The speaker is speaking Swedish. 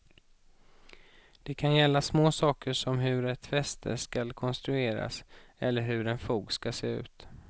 Det kan gälla små saker som hur ett fäste skall konstrueras eller hur en fog skall se ut.